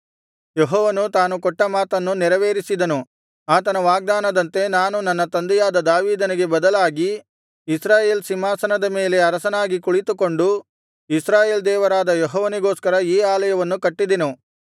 ಯೆಹೋವನು ತಾನು ಕೊಟ್ಟ ಮಾತನ್ನು ನೆರವೇರಿಸಿದನು ಆತನ ವಾಗ್ದಾನದಂತೆ ನಾನು ನನ್ನ ತಂದೆಯಾದ ದಾವೀದನಿಗೆ ಬದಲಾಗಿ ಇಸ್ರಾಯೇಲ್ ಸಿಂಹಾಸನದ ಮೇಲೆ ಅರಸನಾಗಿ ಕುಳಿತುಕೊಂಡು ಇಸ್ರಾಯೇಲ್ ದೇವರಾದ ಯೆಹೋವನಿಗೋಸ್ಕರ ಈ ಆಲಯವನ್ನು ಕಟ್ಟಿದೆನು